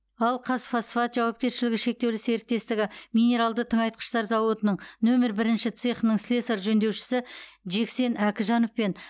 ал қазфосфат жауапкершілігі шектеулі серіктестігі минералды тыңайтқыштар зауытының нөмір бірінші цехының слесарь жөндеушісі жексен әкіжанов пен